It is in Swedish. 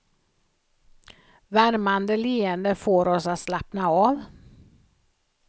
Värmande leenden får oss att slappna av.